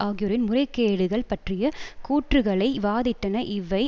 ஆகியோரின் முறைகேடுகள் பற்றிய கூற்றுக்களை வாதிட்டன இவை